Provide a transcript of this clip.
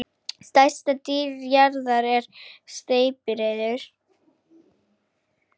stærsta dýr jarðar er steypireyður